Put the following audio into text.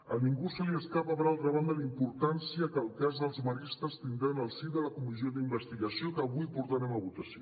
a ningú se li escapa per altra banda la importància que el cas dels maristes tindrà en el si de la comissió d’investigació que avui portarem a votació